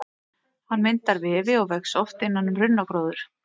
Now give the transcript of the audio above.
Hann myndar vefi og vex oft innan um runnagróður.